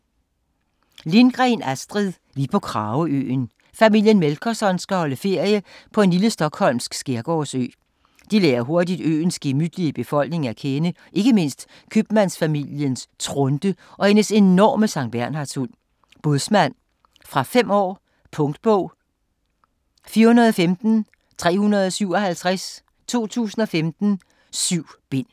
Lindgren, Astrid: Vi på Krageøen Familien Melkerson skal holde ferie på en lille stockholmsk skærgårdsø. De lærer hurtigt øens gemytlige befolkning at kende, ikke mindst købmandsfamiliens Trunte og hendes enorme sanktbernhardshund, Bådsmand. Fra 5 år. Punktbog 415357 2015. 7 bind.